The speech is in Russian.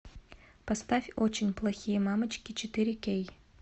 поставь очень плохие мамочки четыре кей